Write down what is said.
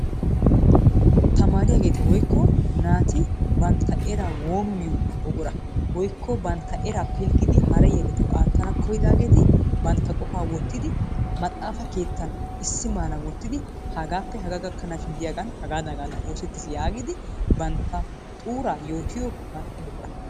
Tamaariyaagetti woykko naati bantta eraa woomiyo buqquraa. woykko bantta eraa pilggidi hara yelettawu aatanawu kiyidaageeti bantta qofaa wotiidi maxaafa keettan issi maaran wotidi hagaappe hagaa gakkanaashin diyaaga hagaadan hagaadan oosettis yaagidi bantta xuuraa yootiyo ano buqqura.